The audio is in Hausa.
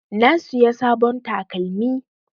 Na siya sabon takalmi.